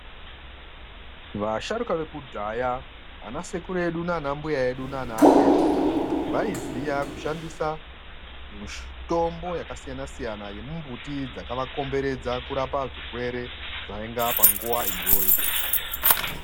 Vasharuka vekudhaya ana sekuru edu nanambuya edu nanaatete vaiziya kushandisa mitombo yakasiyanasiyana yemumbuti dzakavakomberedza kurapa zvirwere zvainga panguwa iyoyo.